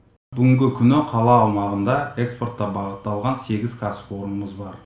бүгінгі күні қала аумағында экспортқа бағытталған сегіз кәсіпорнымыз бар